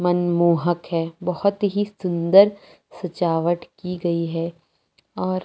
मनमोहक़ है। बहुत ही सुन्दर सजावट कि गयी है। और--